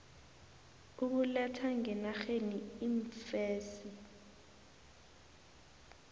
ukuletha ngenarheni iimfesi